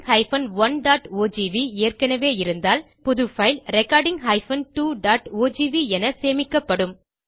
recording 1ஓஜிவி ஏற்கனவே இருந்தால் பின் புது பைல் recording 2ஓஜிவி என சேமிக்கப்படும்